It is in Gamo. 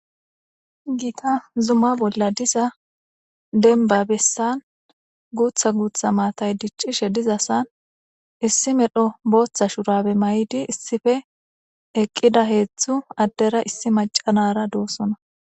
giita zuma bolla diza denba bessan guutha guutha maatay diccishe dizasan issi medho booththa shurabe may7idi issife eqqida heeththu addera issi macanara doossona